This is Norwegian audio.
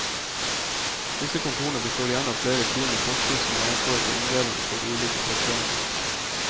Disse kontorene består igjen av flere team med postbud som har ansvaret for omdelingen på de ulike traséene.